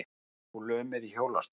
Situr nú lömuð í hjólastól.